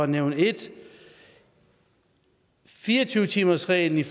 nævne ét fire og tyve timersreglen